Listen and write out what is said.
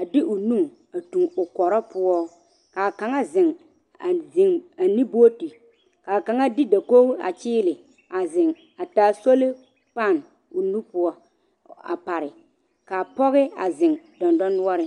a de o nu a toŋ o kɔre poɔ, ka a kaŋa a zeŋ a zeŋ ne booti ka kaŋa de dakogi a kyeele a zeŋ a taa solipan o nu poɔ a pare ka pɔge a zeŋ dɔndɔnoɔreŋ.